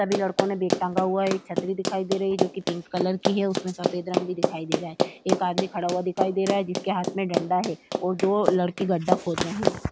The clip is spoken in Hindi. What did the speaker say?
सभी लड़को ने बेग टांगा हुआ है। एक छत्री दिखाई दे रही है जो कि पिंक कलर की है उसमे सफ़ेद रंग भी दिखाई दे रहा है। एक आदमी खड़ा हुआ दिखाई दे रहा है जिसके हाथ में डंडा है और दो लड़के गड्डा खोद रहे हैं।